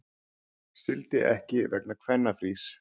Sigldi ekki vegna kvennafrís